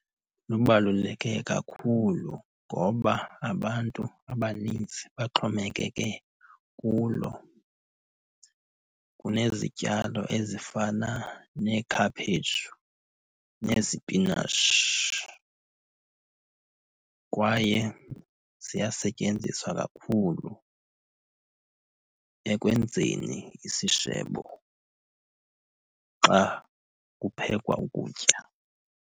Lubaluleke kakhulu ngoba abantu abaninzi baxhomekeke kulo. Kunezityalo ezifana neekhaphetshu, nezipinatshi. Kwaye ziyasetyenziswa kakhulu ekwenzeni isishebo xa kuphekwa ukutya.